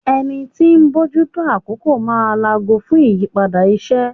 Ẹni tí ń bójú tó àkókò máa laago fún ìyípadà iṣẹ́.